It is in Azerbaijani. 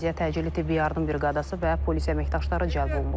Əraziyə təcili tibbi yardım briqadası və polis əməkdaşları cəlb olunub.